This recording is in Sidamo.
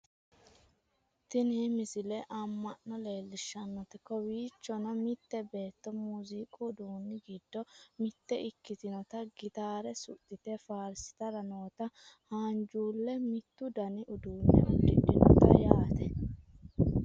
tini misile amma'no leellishshannote kowiichonno mitte beetto muziiqu uduunni giddo mitte ikkitinota gitaare suxxite faarsitara nota haanjuulle mittu dani uduunne uddidhinote yaate